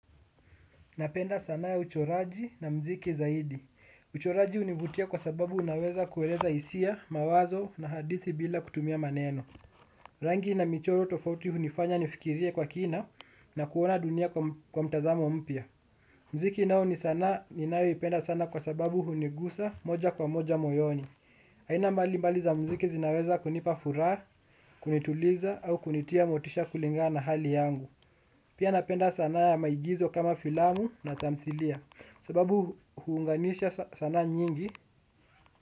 Napenda sanaa ya uchoraji na mziki zaidi. Uchoraji hunivutia kwa sababu unaweza kueleza hisia, mawazo na hadithi bila kutumia maneno. Rangi na michoro tofauti hunifanya nifikirie kwa kina na kuona dunia kwa mtazamo mpya. Mziki nao ni sanaa ninayo ipenda sana kwa sababu hunigusa moja kwa moja moyoni. Aina mbali mbali za mziki zinaweza kunipa furaha, kunituliza au kunitia motisha kulingana na hali yangu. Pia napenda sanaa ya maigizo kama filamu na tamthilia. Sababu huunganisha sanaa nyingi.